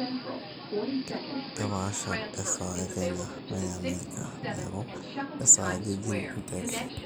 keepasha esaa e kenya wene America neeku kesaaja ajing e nteke